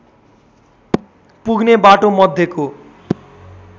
पुग्ने बाटो मध्येको